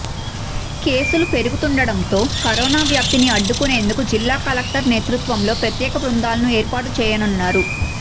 కేసులు పెరుగుతుండటంతో కరోనా వ్యాప్తిని అడ్డుకునేందుకు జిల్లా కలెక్టర్ నేతృత్వంలో ప్రత్యేక బృందాలను ఏర్పాటు చేయనున్నారు